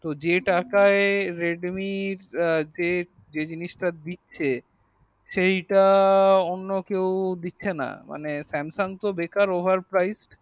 তো যে টাকায় redmi যে জিনিস তা দিচ্ছে সেই তা অন্য কেও দিচ্ছে না মানে samsung তো বেকার over priced